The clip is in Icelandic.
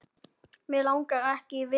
Mig langar ekki í viðtöl.